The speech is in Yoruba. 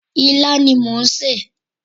Ilá ni mò ń sè.